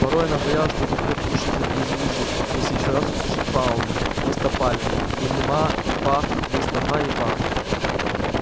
порой она боялась что заткнёт уши за и завизжит если ещё раз услышит паалмы вместо пальмы или маа и паа вместо ма и па